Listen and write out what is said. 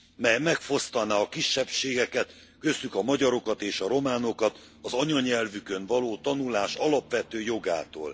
mely megfosztaná a kisebbségeket köztük a magyarokat és a románokat az anyanyelvükön való tanulás alapvető jogától.